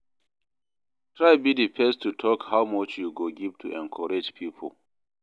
Try be di first to talk how much you go give to encourage pipo